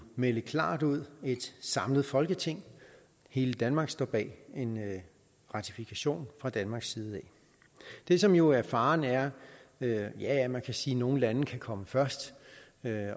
melde klart ud at et samlet folketing hele danmark står bag en ratifikation fra danmarks side det som jo er faren ja ja ja man kan sige at nogle lande kan komme først